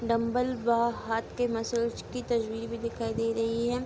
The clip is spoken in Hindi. डंबल व हाथ के मसल्स की तस्वीर भी दिखाई दे रही है।